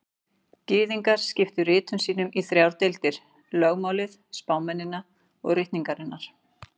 Gyðingar skiptu ritum sínum í þrjár deildir: Lögmálið, spámennina og ritningarnar.